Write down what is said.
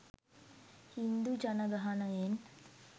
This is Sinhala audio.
හින්දු ජනගහනයෙන් .